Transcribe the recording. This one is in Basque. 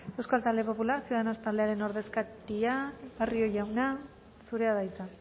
euskal talde popular ciudadanos taldearen ordezkaria barrio jauna zurea da hitza